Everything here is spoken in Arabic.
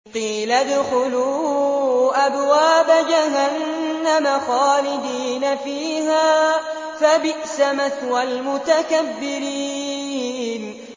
قِيلَ ادْخُلُوا أَبْوَابَ جَهَنَّمَ خَالِدِينَ فِيهَا ۖ فَبِئْسَ مَثْوَى الْمُتَكَبِّرِينَ